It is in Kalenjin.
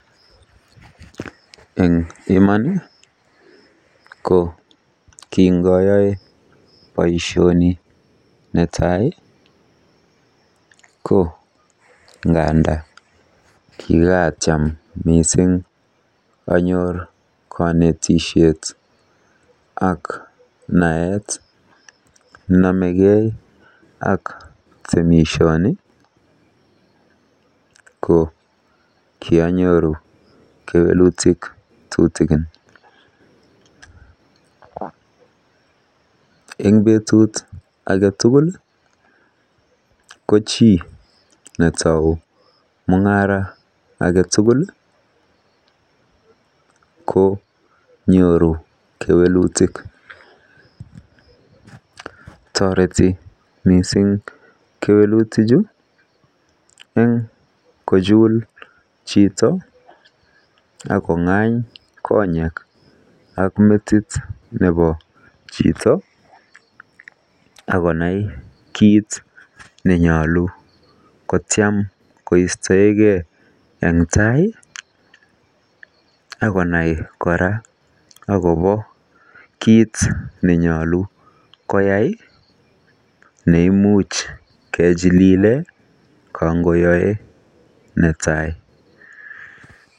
Eng iman, ko kingayae boisioni netai, ko nganda kikaatiam mising konetisiet ak naet nenomekei ak temisioni ko kianyoru kewelutik tutikin. Eng beetut age tugul. Ko chi netou mung'aret konyoru kewelutik. Toreti mising kewelutichu eng kochul chito akong'any konyek ak metit nebo chito, akonai kiit nenyolu kotiam koistoekei eng tai akonai kora akobo kiit nenyolu koyai neimuch kechilile kangoyae netai.